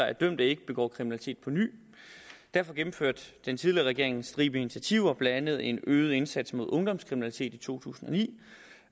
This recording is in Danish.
at dømte ikke begår kriminalitet på ny derfor gennemførte den tidligere regering en stribe initiativer blandt andet en øget indsats mod ungdomskriminalitet i to tusind og ni